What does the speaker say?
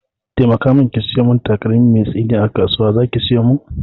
Taimaka mun ki sayo mun takalmi mai tsini a kasuwa, zaki saya mun?